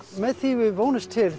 með því við vonumst til